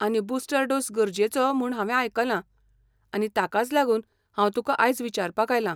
आनी booster dose गरजेचो म्हूण हांवे आयकलां, आनी ताकाच लागून हांव तुका आयज विचारपाक आयलां.